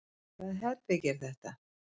Hvaða herbergi er þetta?